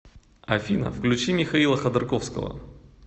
афина включи михаила ходорковского